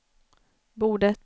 bordet